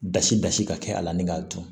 Basi basi ka kɛ a la ni k'a dun